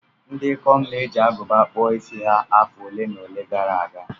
Ndị ikom na-eji agụba kpụọ isi ha afọ ole na ole gara aga.